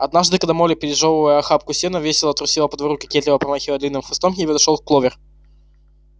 однажды когда молли пережёвывая охапку сена весело трусила по двору кокетливо помахивая длинным хвостом к ней подошёл кловер